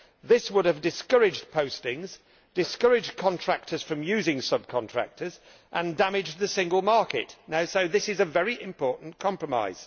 This would have discouraged postings, discouraged contractors from using sub contractors and damaged the single market, so this is a very important compromise.